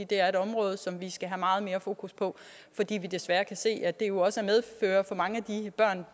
det er et område som vi skal have meget mere fokus på fordi vi desværre kan se at det jo også for mange